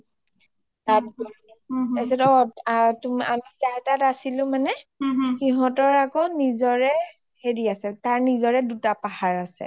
তাৰপিছত আৰু আমি যাৰ তাত আছিলো মানে সিহতৰ আকৌ নিজৰে হেৰি আৰু তাৰ নিজৰে দুটা পাহাৰ আছে